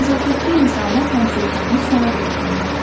Nəzakətli insanlar həmsöhbətini sonadək dinləyir.